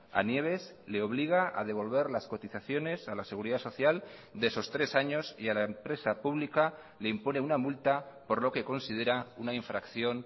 a nieves le obliga a devolver las cotizaciones a la seguridad social de esos tres años y a la empresa pública le impone una multa por lo que considera una infracción